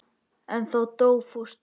En þá dó fóstra.